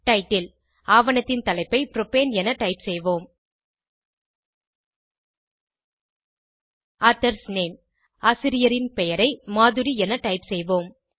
title ஆவணத்தின் தலைப்பை propane என டைப் செய்வோம் ஆதர்ஸ் நேம் ஆசிரியரின் பெயரை மதுரி என டைப் செய்வோம்